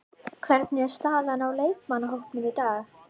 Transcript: Hvernig er staðan á leikmannahópnum í dag?